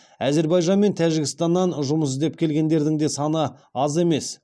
әзербайжан мен тәжікстаннан жұмыс іздеп келгендердің де саны аз емес